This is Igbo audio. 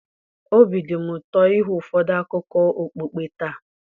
obi dị m ụtọ ịhụ ụfọdụ akụkọ okpukpe taa.